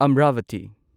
Amravati